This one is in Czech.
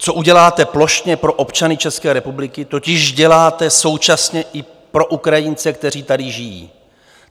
Co uděláte plošně pro občany České republiky, totiž děláte současně i pro Ukrajince, kteří tady žijí.